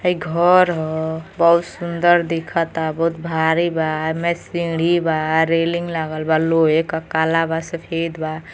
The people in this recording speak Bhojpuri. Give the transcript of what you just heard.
हई घर ह। बहोत सुंदर दिखता। बहोत भारी बा। एमे सीढ़ी बा। रैलिंग लागल बा। लोहे क कला बा। सफेद बा।